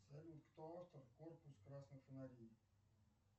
салют кто автор корпус красных фонарей